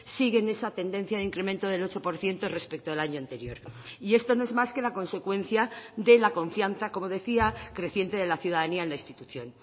sigue en esa tendencia de incremento del ocho por ciento respecto al año anterior y esto no es más que la consecuencia de la confianza como decía creciente de la ciudadanía en la institución